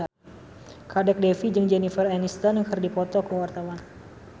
Kadek Devi jeung Jennifer Aniston keur dipoto ku wartawan